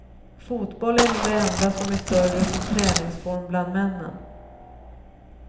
Fotboll är nog det enda som är större som träningsform bland männen.